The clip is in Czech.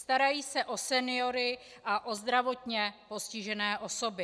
Starají se o seniory a o zdravotně postižené osoby.